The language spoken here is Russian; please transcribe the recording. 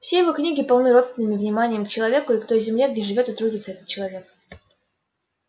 все его книги полны родственным вниманием к человеку и к той земле где живёт и трудится этот человек